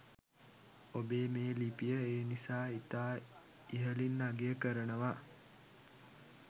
ඔබේ මේ ලිපිය ඒ නිසා ඉතා ඉහලින් අගය කරනවා